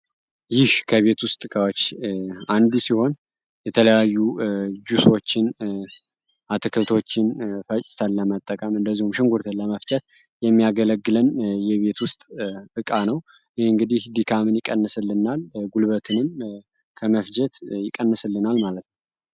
ይህ ከቤት ውስጥ እቃዎች አንዱ ሲሆን የተለያዩ ጁሶችን አትክልቶችን ፈጭተን ለመጠቀም እንዲሁም ደግሞ ሽንኩርት ለመፍጨት የሚያገለግለን የቤት ውስጥ እቃ ነው። ይህ እንግዲህ ድካምን ይቀንስልናል ጉልበትንም ከመፍጀት ይቀንስልናል ማለት ነው።